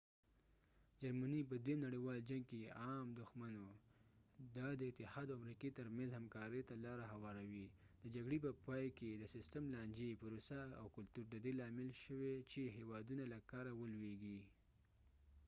جرمني په دويم نړیوالي جنګ کې عام دښمن وو دا د ussr اتحاد او امريکي تر منځ همکارۍ ته لاره هواروي د جګړې په پای کې د سستم لانجي پروسه او کلتور د دې لامل شوی چې هیوادونه له کاره ولوېږي